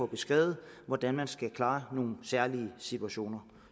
beskrevet hvordan man skal klare nogle særlige situationer